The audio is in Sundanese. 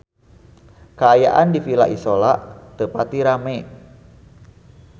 Kaayaan di Villa Isola teu pati rame